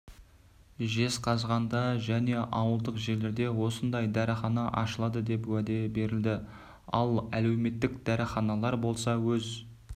жезқазғанда және ауылдық жерлерде осындай дәріхана ашылады деп уәде берілді ал әлеуметтік дәріханалар болса өз